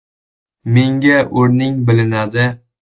Menga o‘rning bilinadi”.